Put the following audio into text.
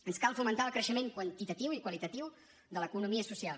ens cal fomentar el creixement quantitatiu i qualitatiu de l’economia social